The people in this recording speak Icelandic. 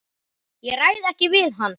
Ég ræð ekki við hann!